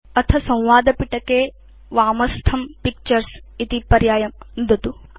अथ संवादपिटके वामस्थं पिक्चर्स इति पर्यायं नुदतु